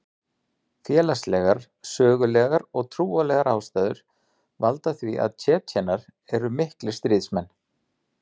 Félagslegar, sögulegar og trúarlegar ástæður valda því að Tsjetsjenar eru miklir stríðsmenn.